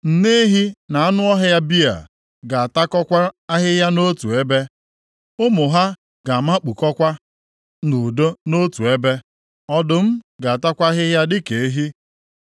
Nne ehi na anụ ọhịa bịa ga-atakọkwa ahịhịa nʼotu ebe, ụmụ ha ga-amakpukọkwa nʼudo nʼotu ebe. Ọdụm ga-atakwa ahịhịa dịka ehi.